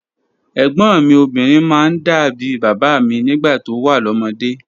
Ẹ̀gbọ́̀n mi obinrin máa ń dà bí bàbá mi nígbà tó wà lọ́mọdé.